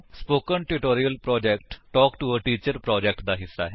spoken tutorial project talk to a teacher project ਦਾ ਹਿੱਸਾ ਹੈ